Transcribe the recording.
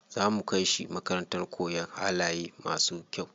Za mu kai shi makarantar koyan halaye masu kyau.